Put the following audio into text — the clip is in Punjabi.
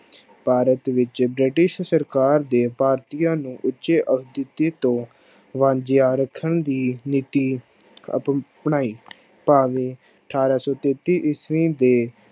ਭਾਰਤ ਵਿੱਚ ਬ੍ਰਿਟਿਸ਼ ਸਰਕਾਰ ਦੇ ਭਾਰਤੀਆਂ ਨੂੰ ਉੱਚੇ ਤੋਂ ਵਾਂਝਿਆ ਰੱਖਣ ਦੀ ਨੀਤੀ ਅਪਣਾਈ ਭਾਵੇਂ ਅਠਾਰਾਂ ਸੌ ਤੇਤੀ ਈਸਵੀ ਦੇ